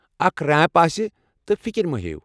اکھ ریمپ آسہِ، تہٕ فکر مہ ہیٚیِو۔